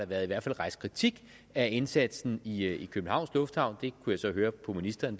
været rejst kritik af indsatsen i i københavns lufthavn det kunne jeg så høre på ministeren